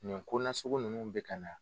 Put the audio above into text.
Nin konasugu ninnu bɛ ka na.